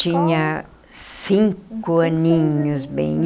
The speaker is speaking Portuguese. Tinha cinco aninhos bem.